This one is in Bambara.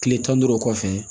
Tile tan ni duuru kɔfɛ